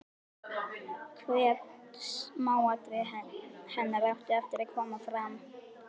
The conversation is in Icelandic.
Hvert smáatriði hennar átti eftir að koma fram.